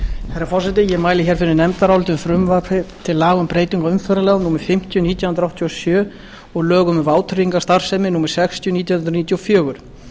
herra forseti ég mæli fyrir nefndaráliti um frumvarp til laga um breytingu á umferðarlögum númer fimmtíu nítján hundruð áttatíu og sjö og lögum um vátryggingarstarfsemi númer sextíu nítján hundruð níutíu og fjögur